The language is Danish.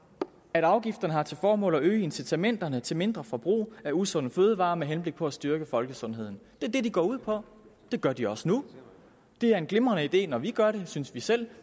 at afgifterne har til formål at øge incitamenterne til mindre forbrug af usunde fødevarer med henblik på at styrke folkesundheden det er det de går ud på det gør de også nu det er en glimrende idé når vi gør det synes vi selv